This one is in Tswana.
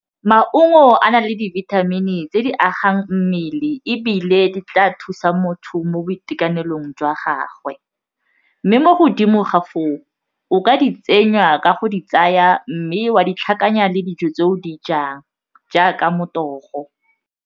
Maungo a na le dibithamini tse di agang mmele ebile di tla thusa motho mo boitekanelong jwa gagwe mme mo godimo ga foo o ka di tsenywa ka go di tsaya mme wa di tlhakanya le dijo tse o di jang jaaka motogo.